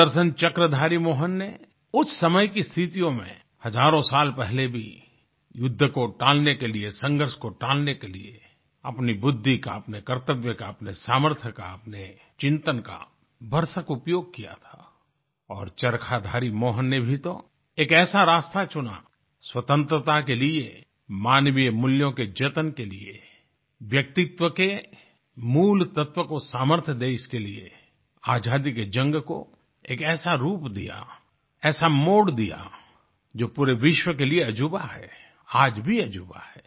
सुदर्शन चक्रधारी मोहन ने उस समय की स्थितियों में हजारों साल पहले भी युद्ध को टालने के लिए संघर्ष को टालने के लिए अपनी बुद्धि का अपने कर्तव्य का अपने सामर्थ्य का अपने चिंतन का भरसक उपयोग किया था और चरखाधारी मोहन ने भी तो एक ऐसा रास्ता चुना स्वतंत्रता के लिए मानवीय मूल्यों के जतन के लिए व्यक्तित्व के मूल तत्वों को सामर्थ्य दे इसके लिए आजादी के जंग को एक ऐसा रूप दिया ऐसा मोड़ दिया जो पूरे विश्व के लिए अजूबा है आज भी अजूबा है